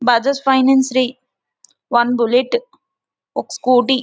Bajaj finance one bullet ఒక Scooty --